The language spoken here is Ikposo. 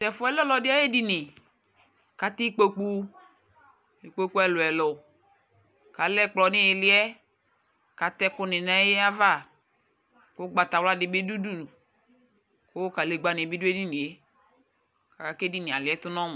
tʊ ɛfʊ yɛ lɛ ɔlɔdɩ ayʊ edini, kʊ atɛ ikpoku ɛluɛlʊ, kʊ alɛ ɛkplɔ nʊ iili yɛ kʊ atɛ ɛkʊnɩ nʊ ay'ava, kʊ ugbatawla dʊ udu kʊ ivutsu dɩbɩ dʊ edini yɛ, aka kʊ edini yɛ aliɛtʊ nʊ ɔmʊ